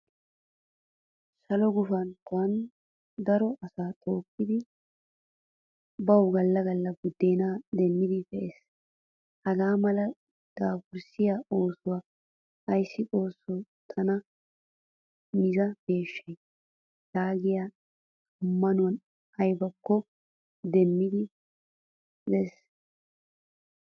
Saluwaa gufantton daro asay tookidi bawu galla galla buddena demmidi pe'ees. Hagaa mala dafurssiyaa oosuwan asay xoosso tana miza peeshsha yaagiya ammanuwan aybakko demmidid demmees.